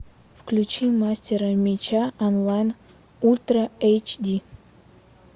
включи мастера меча онлайн ультра эйч ди